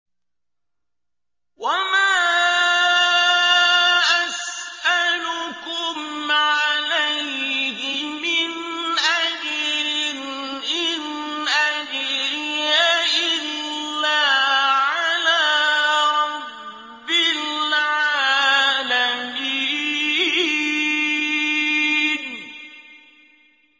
وَمَا أَسْأَلُكُمْ عَلَيْهِ مِنْ أَجْرٍ ۖ إِنْ أَجْرِيَ إِلَّا عَلَىٰ رَبِّ الْعَالَمِينَ